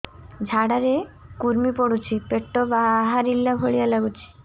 ଝାଡା ରେ କୁର୍ମି ପଡୁଛି ପେଟ ବାହାରିଲା ଭଳିଆ ଲାଗୁଚି